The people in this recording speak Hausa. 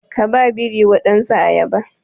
Ka ba biri wadansu ayaba